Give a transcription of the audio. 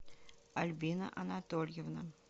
альбина анатольевна